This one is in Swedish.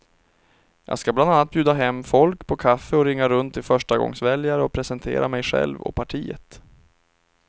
Jag ska bland annat bjuda hem folk på kaffe och ringa runt till förstagångsväljare och presentera mig själv och partiet.